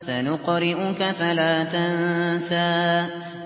سَنُقْرِئُكَ فَلَا تَنسَىٰ